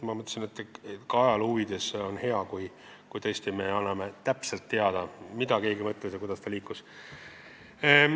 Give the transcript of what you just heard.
Ma arvasin, et ka ajaloo huvides on hea, kui me anname täpselt teada, mida keegi mõtles, kuidas ta mõte liikus.